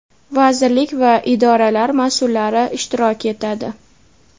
vazirlik va idoralar masʼullari ishtirok etadi.